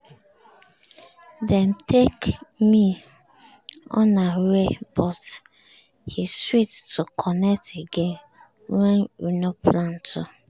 dem take me unaware but e sweet to connect again wen we nor plan to.